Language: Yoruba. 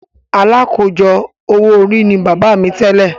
“Alákòójọ owó orí” ni bàbá mi tẹ́lẹ̀.